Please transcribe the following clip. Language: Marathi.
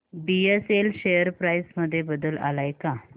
बीएसएल शेअर प्राइस मध्ये बदल आलाय का